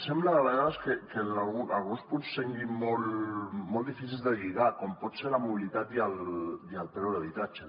sembla a vegades que alguns punts siguin molt difícils de lligar com poden ser la mobilitat i el preu de l’habitatge